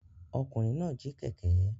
Ọkùnrin náà jí kẹ̀kẹ́.